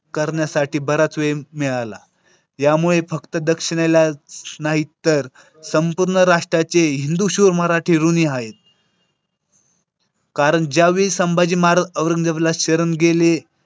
करण्यासाठी बराच वेळ मिळाला. यामुळे फक्त दक्षिणेला नाही तर संपूर्ण राष्ट्राचे हिंदू शूर मराठी ऋणी आहेत कारण ज्यावेळी संभाजी महाराज औरंगजेबाला शरण गेले.